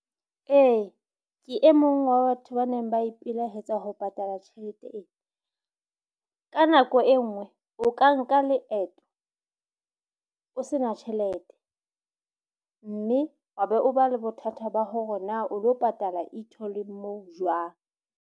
Ee ke e mong wa batho ba neng ba ipilahetsa ho patala tjhelete e. Ka nako e nngwe, o ka nka leeto o se na tjhelete, mme wa be o ba le bothata ba hore na o lo patala e-toll-eng moo jwang.